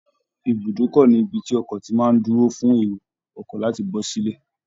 Ibùdókọ ni ibi tí ọkọ ti má a ń dúró fun èrò ọkọ̀ láti bọ́ sílẹ̀